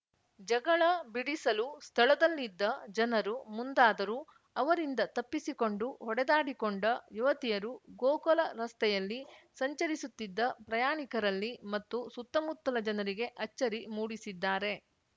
ಜಗಳ ಬಿಡಿಸಲು ಸ್ಥಳದಲ್ಲಿದ್ದ ಜನರು ಮುಂದಾದರೂ ಅವರಿಂದ ತಪ್ಪಿಸಿಕೊಂಡು ಹೊಡೆದಾಡಿಕೊಂಡ ಯುವತಿಯರು ಗೋಕಲ ರಸ್ತೆಯಲ್ಲಿ ಸಂಚರಿಸುತ್ತಿದ್ದ ಪ್ರಯಾಣಿಕರಲ್ಲಿ ಮತ್ತು ಸುತ್ತಮುತ್ತಲ ಜನರಿಗೆ ಅಚ್ಚರಿ ಮೂಡಿಸಿದ್ದಾರೆ